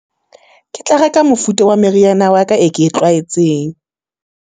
Ke tla reka mofuta wa meriana wa ka e ke e tlwaetseng.